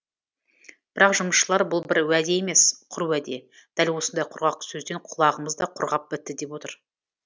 бірақ жұмысшылар бұл бір уәде емес құр уәде дәл осындай құрғақ сөзден құлағымыз да құрғап бітті деп отыр